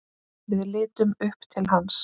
Við litum upp til hans.